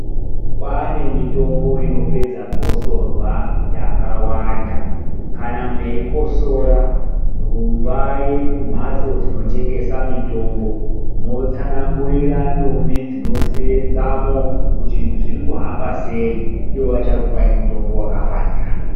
Kwane mitombo inopedza gosorwa yaka wanda kana meikotsora rumbai ku mhatso dzino tengesa mitombo motsanangurira ndombi dzino senzamo kuti zviri kuhamba sei iwo vachakupai mutombo wakafanira.